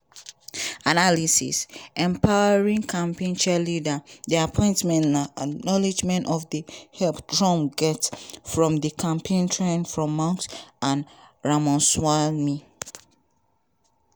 analysis: empowering campaign cheerleaders di appointments na acknowledgment of di help trump get for di campaign trail from musk and ramaswamy.